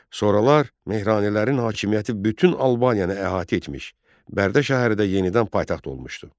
Sonralar Mehranilərin hakimiyyəti bütün Albaniyanı əhatə etmiş, Bərdə şəhəri də yenidən paytaxt olmuşdu.